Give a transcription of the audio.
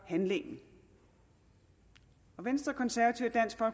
handlingen og venstre konservative